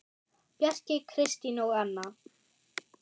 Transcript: Bjarki, Kristín og Anna.